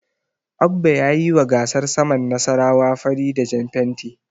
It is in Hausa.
Abba ya yiwa gasar saman Nasarawa fari da jan fenti.